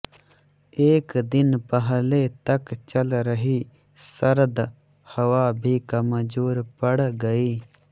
एक दिन पहले तक चल रही सर्द हवा भी कमजोर पड़ गई